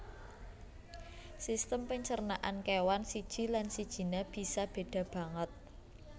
Sistem pancernan kéwan siji lan sijiné bisa béda banget